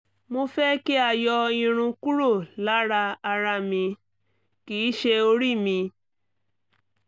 mo fẹ́ kí a yọ irun kúrò lára ara mi (kì í ṣe orí mi)